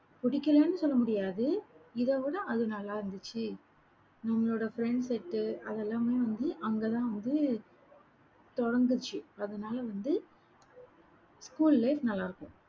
பிடிக்கலைன்னு சொல்லமுடியாது. இதை விட அது நல்லா இருந்துச்சு. நம்மளோட friends set உ அதெல்லாமே வந்து அங்கதான் வந்து, தொடர்ந்துச்சு அதனால வந்து school life நல்லாருக்கும்.